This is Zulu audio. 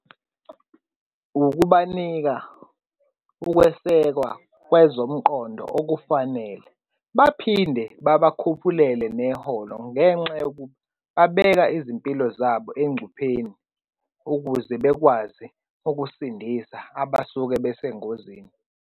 Ukubanika ukwesekwa kwezomqondo okufanele, baphinde babakhuphulele neholo ngenxa yokuba babeka izimpilo zabo engcupheni ukuze bekwazi ukusindisa abasuke besengozini.